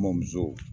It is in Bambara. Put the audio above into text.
N bamuso